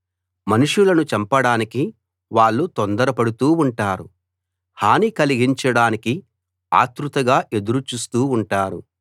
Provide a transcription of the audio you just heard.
మనుషులను చంపడానికి వాళ్ళు తొందరపడుతూ ఉంటారు హాని కలిగించడానికి ఆత్రుతగా ఎదురు చూస్తూ ఉంటారు